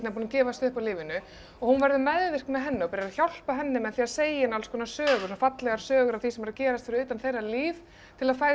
búin að gefast upp á lífinu hún verður meðvirk með henni og byrjar að hjálpa henni með því að segja henni sögur fallegar sögur af því sem er að gerast fyrir utan þeirra líf til að fegra